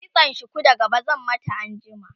kitsan shuku da gaba zan mata anjima